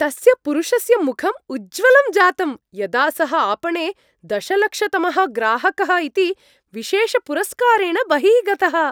तस्य पुरुषस्य मुखम् उज्ज्वलं जातम्, यदा सः आपणे दशलक्षतमः ग्राहकः इति विशेषपुरस्कारेण बहिः गतः।